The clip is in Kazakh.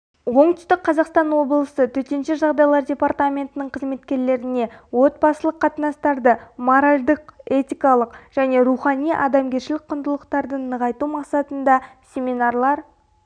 оңтүстік қазақстан облысы төтенше жағдайлар департаментінің қызметкерлеріне отбасылық қатынастарды моральдық-этикалық және рухани-адамгершілік құндылықтарды нығайту мақсатында семинарлар